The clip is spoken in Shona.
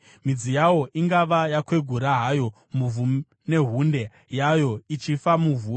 Midzi yawo ingava yakwegura hayo muvhu uye hunde yawo ichifa muvhu,